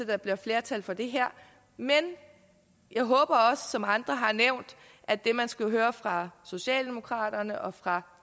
der bliver flertal for det her men jeg håber også som andre har nævnt at det man skal høre fra socialdemokraterne og fra